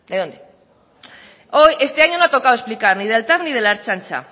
de dónde hoy este año no ha tocado explicar ni del tav ni de la ertzaintza